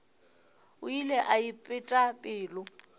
o ile a ipeta pelo